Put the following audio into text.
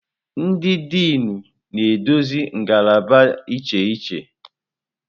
Ndị Dịnụ na-eduzi ngalaba iche iche.